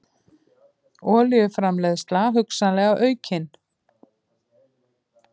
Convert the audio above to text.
Olíuframleiðsla hugsanlega aukin